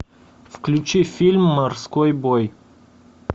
включи фильм морской бой